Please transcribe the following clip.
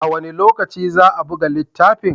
A wane lokaci za a buga littafin?